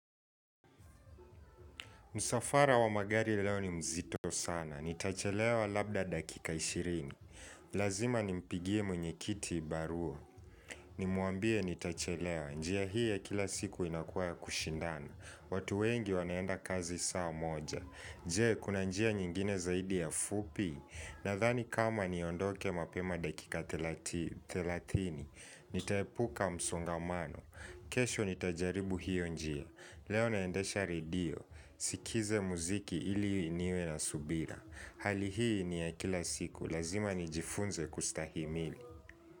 Msafara wa magari leo ni mzito sana, nitachelewa labda dakika ishirini. Lazima nimpigie mwenye kiti barua. Nimwambie ntachelewa njia hii ya kila siku inakuwa ya kushindana watu wengi wanaenda kazi saa moja je, kuna njia nyingine zaidi ya fupi. Nadhani kama niondoke mapema dakika thelatini thelathini, nitaepuka msongamano. Kesho nitajaribu hiyo njia. Leo naendesha redio. Sikize mziki ili niwe na subira Hali hii ni ya kila siku Lazima nijifunze kustahimili.